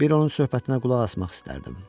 Bir onun söhbətinə qulaq asmaq istərdim.